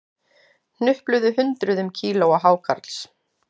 Hnupluðu hundruðum kílóa hákarls